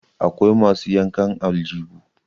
akwai masu yankan aljibu